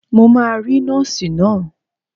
Mo máa rí Nọ́ọ̀sì náà.